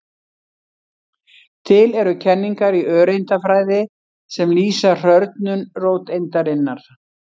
Til eru kenningar í öreindafræði sem lýsa hrörnun róteindarinnar.